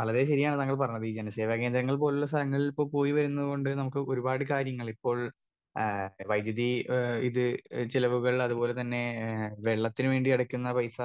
വളരെ ശരിയാണ് താങ്കൾ പറഞ്ഞത് ഈ ജനസേവന കേന്ദ്രങ്ങൾ പോലുള്ള സ്ടലങ്ങളിൽ ഇപ്പൊ പോയി വരുന്നോണ്ട് ഇപ്പൊ നമുക്ക് ഒരുപാട് കാര്യങ്ങൾ ഇപ്പോൾ ആ വൈദ്യുതി ഏ ഇത് ചിലവുകൾ അതുപോലെ തന്നെ ഏ വെള്ളത്തിന് വേണ്ടി അടക്കുന്ന പൈസ.